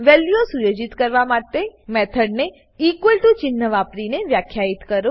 વેલ્યુઓ સુયોજિત કરવા માટે મેથોડ ને ચિન્હ વાપરીને વ્યાખ્યિત કરો